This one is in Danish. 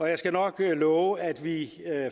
jeg skal nok love at vi